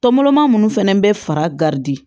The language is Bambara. Tɔnmɔrɔma minnu fɛnɛ bɛ fara garidi